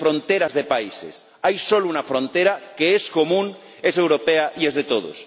Ya no hay fronteras de países hay solo una frontera que es común, es europea y es de todos.